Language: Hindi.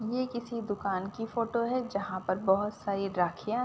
ये किसी दुकान की फोटो है जहाँ पर बोहोत सारी राखियाँ --